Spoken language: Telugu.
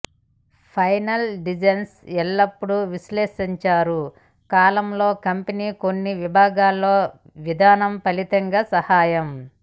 ఫైనల్ డిజైన్ ఎల్లప్పుడూ విశ్లేషించారు కాలంలో కంపెనీ కొన్ని విభాగాల్లో విధానం ఫలితాలు సహాయం